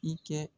I kɛ